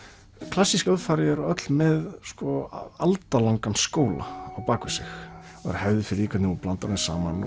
klassísk hljóðfæri eru öll með skóla á bak við sig og hefð fyrir því hvernig þú blandar þeim saman